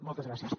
moltes gràcies